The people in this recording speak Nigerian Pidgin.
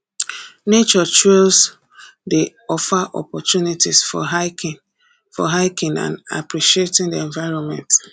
nature trails dey offer opportunities for hiking for hiking and appreciating the environment